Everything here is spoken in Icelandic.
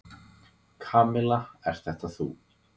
Kamilla, ert þetta þú?